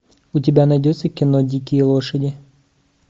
у тебя найдется кино дикие лошади